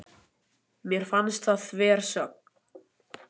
Mér fannst það þversögn.